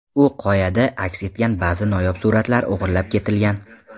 U qoyada aks etgan ba’zi noyob suratlar o‘g‘irlab ketilgan.